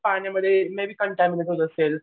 पाण्यामध्ये असेल